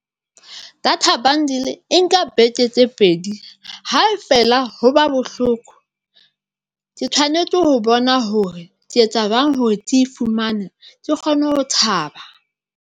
Data bundle e nka beke tse pedi, ha e feela ho ba bohloko. Ke tshwanetse ho bona hore ke etsa jwang hore ke e fumane ke kgone ho thaba.